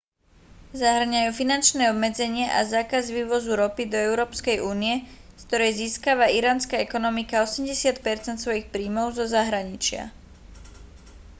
zahŕňajú finančné obmedzenia a zákaz vývozu ropy do európskej únie z ktorej získava iránska ekonomika 80 % svojich príjmov zo zahraničia